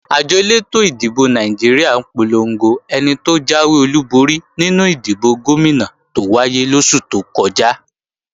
Àjọ elétò ìdìbò Nàìjíríà polongo ẹni tó jáwé olúborí nínú ìdìbò Gómìnà tó wáyé lóṣù tó kọjá